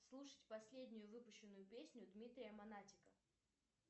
слушать последнюю выпущенную песню дмитрия монатика